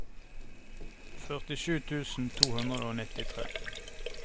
førtisju tusen to hundre og nittitre